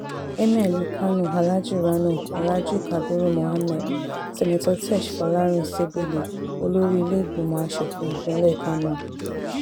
emir ìlú kánó alhaji rano alhaji kabiru muhammed seneto tesh fọ́làrin sébéle olórí ìlẹ́lẹ́gbẹ̀mọ́ asòfin ìpínlẹ̀ kánò